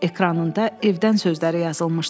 Ekranında evdən sözləri yazılmışdı.